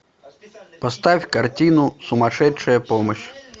поставь картину сумасшедшая помощь